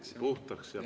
Hääl puhtaks.